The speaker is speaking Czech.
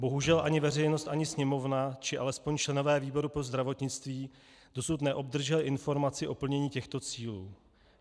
Bohužel ani veřejnost, ani Sněmovna, či alespoň členové výboru pro zdravotnictví dosud neobdrželi informaci o plnění těchto cílů.